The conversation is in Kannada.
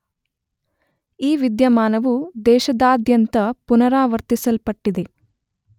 ಈ ವಿದ್ಯಮಾನವು ದೇಶದಾದ್ಯಂತ ಪುನರಾವರ್ತಿಸಲ್ಪಟ್ಟಿದೆ.